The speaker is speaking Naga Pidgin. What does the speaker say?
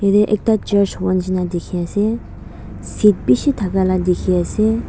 ede ekta church hoba nishena dikhi ase seat bishi thake la dikhi ase.